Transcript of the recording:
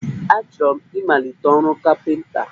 Achọrọ m ịmalite ọrụ kapịnta